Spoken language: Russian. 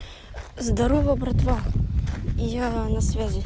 здорово братва и я на связи